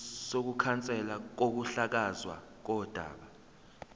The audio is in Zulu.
sokukhanselwa kokuhlakazwa kodaba